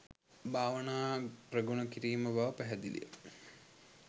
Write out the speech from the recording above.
භාවනා ප්‍රගුණ කිරීම බව පැහැදිලි ය